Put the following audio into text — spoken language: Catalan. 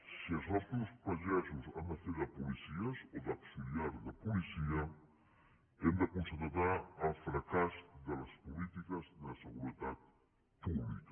si els nostres pagesos han de fer de policies o d’auxiliar de policia hem de constatar el fracàs de les polítiques de seguretat pública